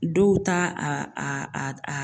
Dow ta a a a a